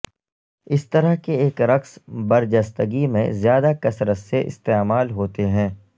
اس طرح کے ایک رقص برجستگی میں زیادہ کثرت سے استعمال ہوتے ہیں